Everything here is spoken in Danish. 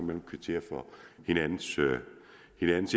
kan kvittere for hinandens